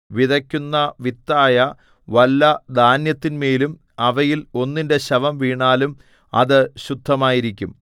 വിതയ്ക്കുന്ന വിത്തായ വല്ല ധാന്യത്തിന്മേലും അവയിൽ ഒന്നിന്റെ ശവം വീണാലും അത് ശുദ്ധമായിരിക്കും